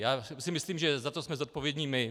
Já si myslím, že za to jsme zodpovědní my.